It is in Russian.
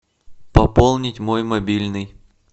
пополнить мой мобильный